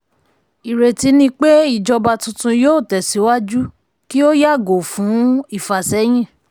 ìrètí ni pé ìjọba tuntun yóò tẹ̀síwájú kí ó yàgò fún ìfàsẹ́yìn.